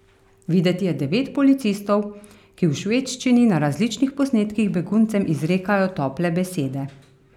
Videti je devet policistov, ki v švedščini na različnih posnetkih beguncem izrekajo tople besede.